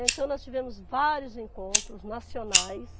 Então nós tivemos vários encontros nacionais.